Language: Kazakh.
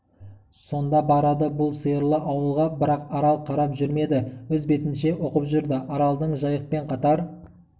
сонда барады бұл сиырлы ауылға бірақ арал қарап жүрмеді өз бетінше оқып жүрді аралдың жайықпен қатар